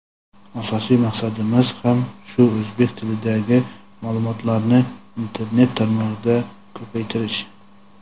Asosiy maqsadimiz ham shu: o‘zbek tilidagi ma’lumotlarni internet tarmog‘ida ko‘paytirish.